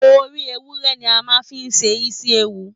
Orí ewúrẹ́ ni a má a n fí ṣe isi-ewu.